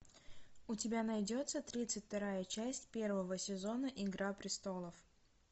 у тебя найдется тридцать вторая часть первого сезона игра престолов